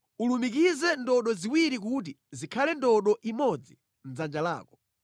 Ulumikize ndodo ziwirizi kuti zikhale ndodo imodzi mʼdzanja lako.